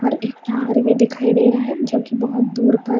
और एक टावर भी दिखाई दे रहा है जो की बहुत दूर पर --